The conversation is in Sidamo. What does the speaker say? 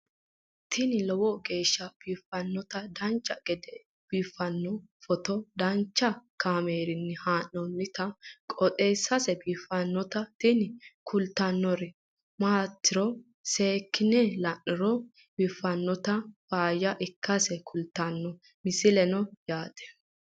tini lowo geeshsha biiffannoti dancha gede biiffanno footo danchu kaameerinni haa'noonniti qooxeessa biiffannoti tini kultannori maatiro seekkine la'niro biiffannota faayya ikkase kultannoke misileeti yaate